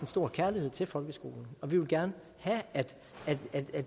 stor kærlighed til folkeskolen og vi ville gerne have at